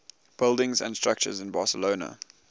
buildings and structures in barcelona